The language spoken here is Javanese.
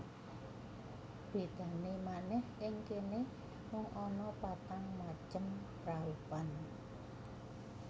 Bedane manèh ing kene mung ana patang macem praupan